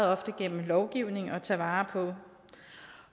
ofte gennem lovgivning at tage vare på